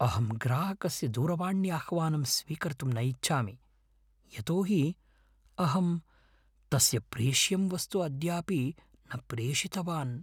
अहं ग्राहकस्य दूरवाण्याह्वानं स्वीकर्तुं न इच्छामि यतो हि अहं तस्य प्रेष्यं वस्तु अद्यापि न प्रेषितवान्।